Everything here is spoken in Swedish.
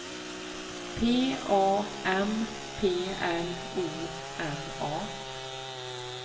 P A M P L O N A